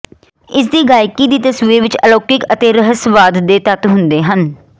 ਇਸ ਦੀ ਗਾਇਕੀ ਦੀ ਤਸਵੀਰ ਵਿੱਚ ਅਲੌਕਿਕ ਅਤੇ ਰਹੱਸਵਾਦ ਦੇ ਤੱਤ ਹੁੰਦੇ ਹਨ